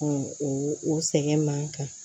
o sɛgɛn man kan